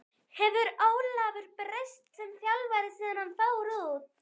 Hefur Ólafur breyst sem þjálfari síðan hann fór út?